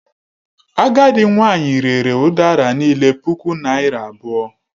Agadị nwanyị rere udara niile puku naira abụọ.